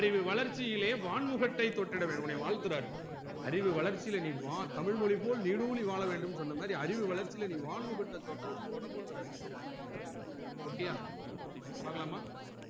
அறிவு வளர்ச்சிளே வான்முகற்றை தொட்டிட வேணும் உன்னை வாழ்த்துராறு அறிவு வளர்ச்சில நீ வா தமிழ்மொழி போல நீடோடி வாழவேண்டும்னு சொன்ன மாதிரி அறிவு வளர்ச்சில நீ வான்முகற்றை தொடனும் தொடனும்ராறு ok ய பாக்கலாமா